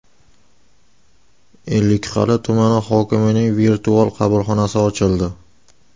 Ellikqal’a tumani hokimining virtual qabulxonasi ochildi.